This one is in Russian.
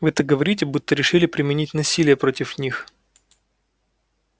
вы так говорите будто решили применить насилие против них